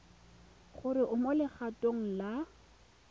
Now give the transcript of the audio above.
gore o mo legatong la